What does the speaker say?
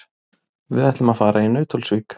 Við ætlum að fara í Nauthólsvík.